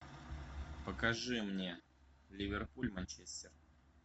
покажи мне ливерпуль манчестер